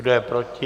Kdo je proti?